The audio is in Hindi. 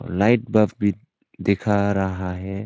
लाइट बफ़ भी दिख रहा है।